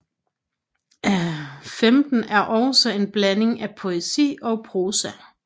XV er også en blanding af poesi og prosa